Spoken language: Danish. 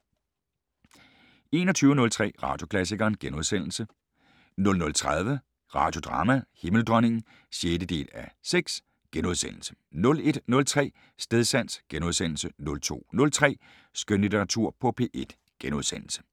21:03: Radioklassikeren * 00:30: Radiodrama: Himmeldronningen (6:6)* 01:03: Stedsans * 02:03: Skønlitteratur på P1 *